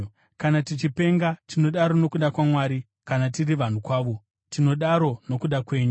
Kana tichipenga, tinodaro nokuda kwaMwari; kana tiri vanhu kwavo, tinodaro nokuda kwenyu.